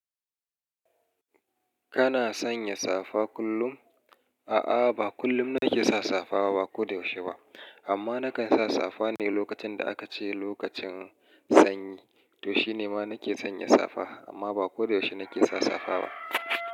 Kana sanya safa kullum? A'a, ba kullum nake sa safa ba, ba ko da yaushe ba. Amma nakan sa safa ne lokacin da aka ce lokacin sanyi. To shine ma nake sanya safa. Amma ba ko da yaushe nake sa safa ba.